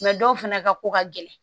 dɔw fana ka ko ka gɛlɛn